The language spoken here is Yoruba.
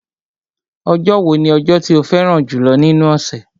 Ọjọ́ wo ni ọjọ́ tí o fẹ́ràn jùlọ́ nínú ọ̀sẹ̀?